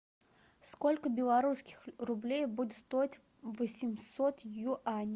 сколько белорусских рублей будет стоить восемьсот юаней